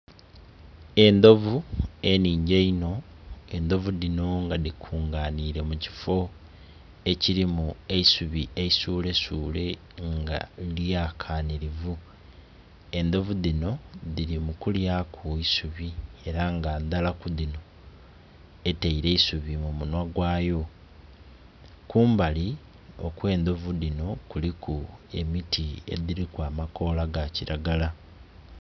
Endhovu enhingi enho, endhovu dhinho nga dhikunga nhile mukifo ekilimu eisubi esule sule nga lyalanka nhilivu, endhovu dhinho dhili mukulyaku isubi era nga ndhala ku dhinho eteile eisubi mumunhwa gwayo, kumbali okwe ndhovu dhinho kuliku emiti edhiliku amakola gakilagala.